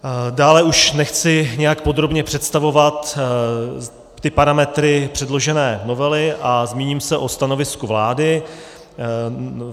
Dále už nechci nějak podrobně představovat ty parametry předložené novely a zmíním se o stanovisku vlády.